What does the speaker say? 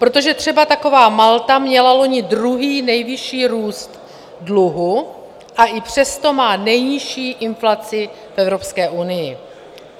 Protože třeba taková Malta měla loni druhý nejvyšší růst dluhu, a i přesto má nejnižší inflaci v Evropské unii.